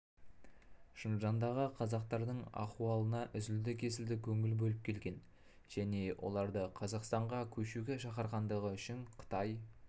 шыңжаңдағы қазақтардың ахуалына үзілді кесілді көңіл бөліп келген және оларды қазақстанға көшуге шақырғандығы үшін қытай